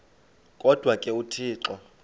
kodwa ke uthixo